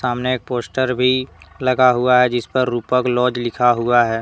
सामने एक पोस्टर भी लगा हुआ है जिस पर रूपक लॉज लिखा हुआ है।